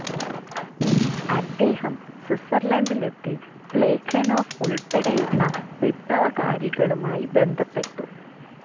അദ്ദേഹം സ്വിസർലൻ്റിലെത്തി പ്ളേഖനോഫ് ഉൾപ്പെടെയുള്ള വിപ്ലവകാരികളുമായി ബന്ധപ്പെട്ടു.